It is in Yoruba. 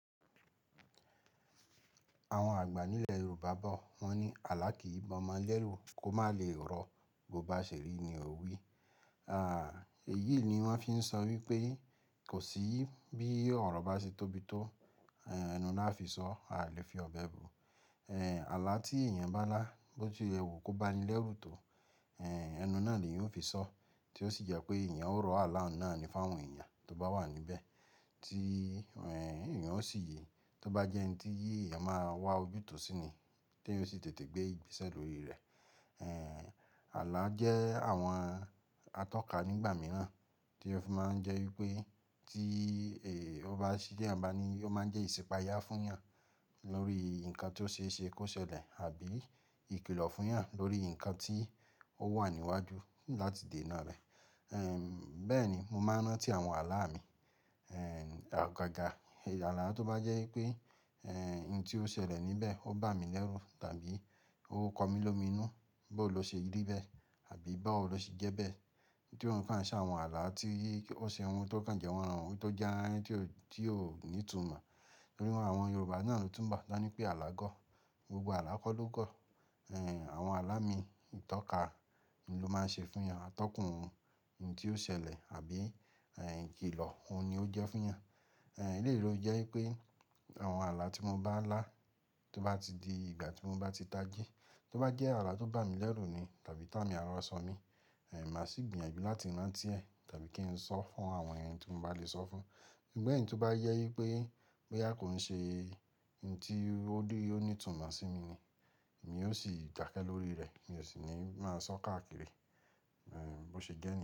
Àwọn àgbà nílẹ̀ Yorùbá bọ̀ wọ́n ní "Àlá kì í b'ọmọ lẹ́rù, kó má le rọ, bó bá ṣèri ni ò wí." Èyí ni wọ́n fi ń sọ wípé kò sí bí ọ̀rọ̀ bá ṣe tóbi tó, ẹnu ná á fi sọ, a lè fi ọ̀bẹ bu. Àlá tí èèyàn bá lá bó ti ẹwu kó bá ni lẹ́rù tó, ẹnu náà ni eyan yóò fi sọ, tí ó sì jẹ́ pé èèyàn ó rọ àlá náà ní fáwọn èèyàn tó bá wà níbẹ̀, tí èèyàn ó sì yé, tó bá jẹ́ ẹni tí eyan máa wá ojútùú síni, tí èyan ó sì tètè gbé ìgbésẹ̀ lórí rẹ̀. Àlá jẹ́ àwọn atọ́ka nígbà mìíràn tí ó fi máa ń jẹ́ wípé tí ó bá ṣí jẹ́ eyan ní, ó máa ń jẹ́ ìsipaya fún eyàn lórí nǹkan tí ó ṣe ṣe kó ṣẹlẹ̀ àbí ìkìlọ̀ fún eyàn lórí nǹkan tí ó wà níwájú láti dènà rẹ̀. Bẹ́ẹ̀ ni mo máa ń rántí àwọn àlá mi. Agágà, àlá tó bá jẹ́ wípé ohun tí ó ṣẹlẹ̀ níbẹ̀ ó bá mi lẹ́rù tàbí ó kọ mí lómìnu bó ló ṣe rí bẹ́ẹ̀ àbí báwo ló ṣe jẹ́ bẹ́ẹ̀, tí òun sa se àwọn àlá tí ó ṣe ohun tó kàn jẹ́ waran ohun tó jẹ́ ohun tí ó ní ìtumọ̀. Nínú àwọn Yorùbá náà ló túnbọ̀ tan ní pé alágọ̀. Gbogbo alá kọ́ ló gọ̀. Àwọn àlá mi, ìtọ́ka ni ló máa ń ṣe fún ìyàn, atọ́kùn ohun tí ó ṣẹlẹ̀ àbí ìkìlọ̀, òun ni ó jẹ́ fún eyàn. Eleyi lo jẹ́ wípé àwọn àlá tí mo bá lá tó bá ti di ìgbà tí mo bá ti tají, tó bá jẹ́ àlá tó bá mi lẹ́rù ni tàbí tá mi ara ọ sàn mi, màá sì gbìyànjú láti rántí ẹ tàbí kí n sọ fún àwọn èèyàn tí mo bá lè sọ fún. Sugbon èyí tó bá yẹ wípé bóyá kò ń ṣe ohun tí ó di o ní ìtumọ̀ sí mi ni, èmi ó sì dake lórí rẹ̀, mi ò sì ní máa sọ káàkiri bó ṣe jẹ́ niyen.